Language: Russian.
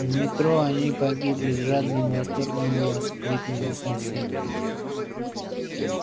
в метро они погибли с жадным восторгом воскликнула соседка